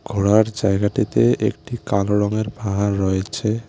ঘোরার জায়গাটিতে একটি কালো রঙের পাহাড় রয়েছে।